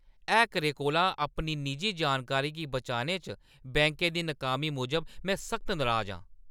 हैकरें कोला अपनी निजी जानकारी गी बचाने च बैंकै दी नाकामी मूजब में सख्त नराज आं।